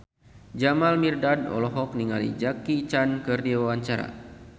Jamal Mirdad olohok ningali Jackie Chan keur diwawancara